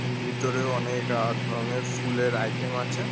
ভিতরে অনেক আ ধরণের স্কুলের -এর আইটেম আছে।